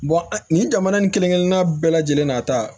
nin jamana nin kelen kelenna bɛɛ lajɛlen na ta